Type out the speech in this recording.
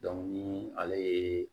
ni ale ye